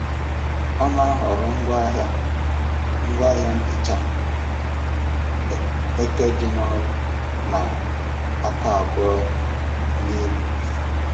Ọ na-ahọrọ ngwaahịa ngwaahịa nhicha eke dị nro na aka abụọ na elu.